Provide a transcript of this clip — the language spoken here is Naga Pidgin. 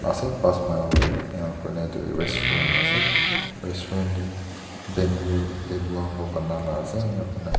ase te aru tarte tu restaurant khan ase restaurant tu bamboo khan para Bana laga ase jarte--